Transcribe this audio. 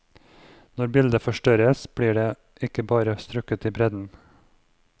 Når bildet forstørres blir det ikke bare strukket i bredden.